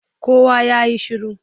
Kowa ya yi shiru!